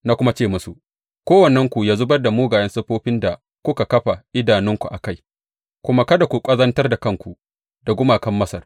Na kuma ce musu, Kowannenku ya zubar da mugayen siffofin da kuka kafa idanunku a kai, kuma kada ku ƙazantar da kanku da gumakan Masar.